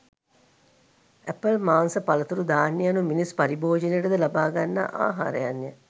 Apple මාංශ පලතුරු ධාන්‍ය යනු මිනිස් පරිභෝජනයට ද ලබාගන්නා ආහාරයන්ය.